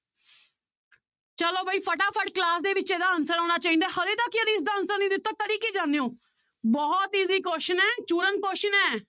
ਚਲੋ ਬਾਈ ਫਟਾਫਟ class ਦੇ ਵਿੱਚ ਇਹਦਾ answer ਆਉਣਾ ਚਾਹੀਦਾ ਹੈ ਹਾਲੇ ਤੱਕ ਯਾਰ ਇਸਦਾ answer ਨੀ ਦਿੱਤਾ ਕਰੀ ਕੀ ਜਾਂਦੇ ਹੋ, ਬਹੁਤ easy question ਹੈ question ਹੈ।